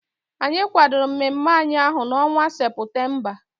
Anyị kwadoro mmemme anyị ahụ n'ọnwa Seputemba.